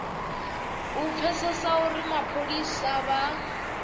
u pfesesa uri mapholisa vha